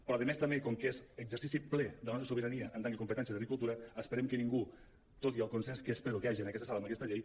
però a més també com que és exercici ple de la nostra sobirania en tant que competència d’agricultura esperem que ningú tot i el consens que espero que hi hagi en aquesta sala amb aquesta llei